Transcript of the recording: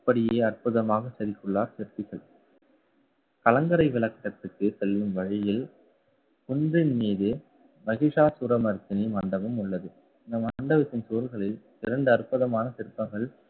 அப்படியே அற்புதமாக செதுக்கியுள்ளார் சிற்பிகள். கலங்கரை விளக்கத்துக்கு செல்லும் வழியில் குன்றின் மீது, மகிஷாசூரமர்த்தினி மண்டபம் உள்ளது. இந்த மண்டபத்தின் சுவர்களில் இரண்டு அற்புதமான சிற்பங்கள்